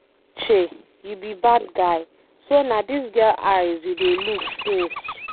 Uche you be bad guy, so na dis girl eyes you dey look since.